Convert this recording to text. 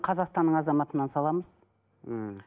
қазақстанның азаматынан саламыз мхм